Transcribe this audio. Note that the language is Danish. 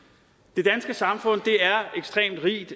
det danske samfund er ekstremt rigt